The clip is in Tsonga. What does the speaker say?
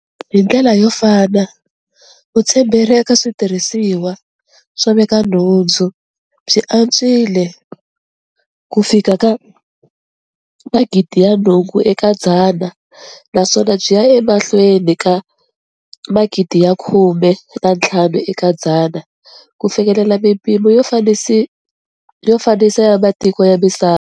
Hi ndlela yo fana, vutshemberi eka switirhisiwa swo veka nhundzu byi antswile kufika ka 80 percent naswona byi ya emahlweni ka 95 percent ku fikelela mipimo yo fananisa ya matiko ya misava.